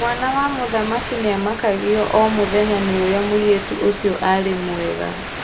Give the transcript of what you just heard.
Mwana wa mũthamaki nĩamakagio o mũtheya nĩ ũrĩa mũirĩtu ũcio arĩ mwega.